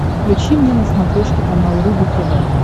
включи мне на смотрешке канал рубль тв